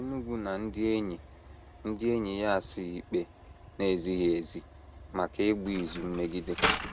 Enugu na ndị enyi ndị enyi ya asaa ikpe na - ezighị ezi maka ịgba izu mmegide.